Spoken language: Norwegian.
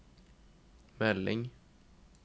melding